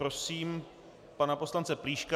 Prosím pana poslance Plíška.